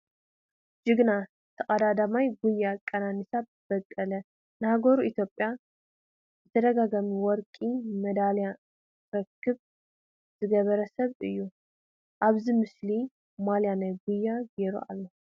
ጅግና ተቀዳዳማይ ጉያ ቀነኒሳ በቀለ ንሃገሩ ኢትዮጵያ ብተደጋጋሚ ወርቂ መዳልያ ክትረክብ ዝገበረ ሰብ እየ፡፡ አብዚ ምስሊ ማልያ ናይ ጉያ ጌይሩ አሎ፡፡